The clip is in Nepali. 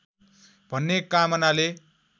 भन्ने कामनाले